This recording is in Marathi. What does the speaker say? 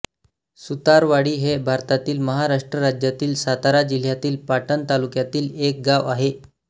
सुतारवाडी हे भारतातील महाराष्ट्र राज्यातील सातारा जिल्ह्यातील पाटण तालुक्यातील एक गाव आहे